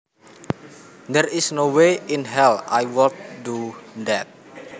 There is no way in hell I would do that